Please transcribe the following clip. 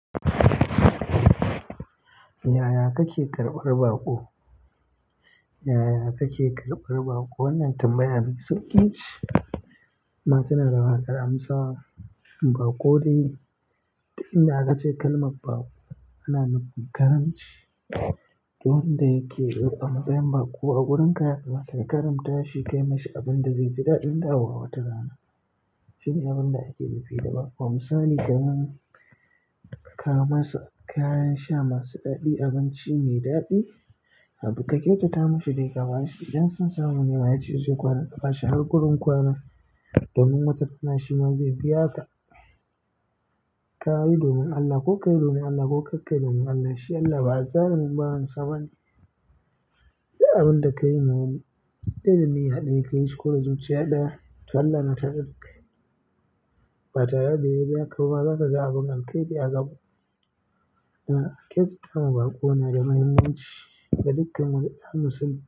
Yaya kake karɓar baƙo? Yaya kake karɓar baƙo? Wannan tambaya mai sauƙi ce, amma tana da wahalar amsawa. Baƙo dai duk inda aka ce kalmar baƙo ana nufin karamci. Wanda yake karɓar a matsayin baƙo a wurin ka, zaka karamta shi, kai masa abin da zai ji daɗin ɗawowa wata rana. Shine abin da ake nufi da baƙo. A misali kenan kawo masa kayan sha masu daɗi, abinci mai daɗi, haka kyauta mishi dai ka bashi. Idan sun samu mai yace zai kwana ka bashi har gurun kwana domin wata rana shi ma zai biya ka. Kayi domin Allah ko kai domin Allah ko ka kai domin Allah, shi Allah ba azzalumin bawan sa ba ne. Duk abin da ka yi ma wani, in dai da niyya ɗaya ka yi shi ko da zuciya ɗaya, to Allah na tare da kai. Batare da ya biya ka ba ma, zakaga abin alheri a gaba. Kyautatawa baƙo na da mahimmanci ga dukkan wani ɗa musulmi.